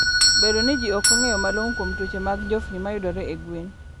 Bedo ni ji ok ong'eyo malong'o kuom tuoche mag njofni mayudore e gwen.